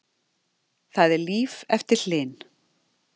Það er líf eftir Hlyn